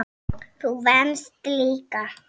Þú venst líka.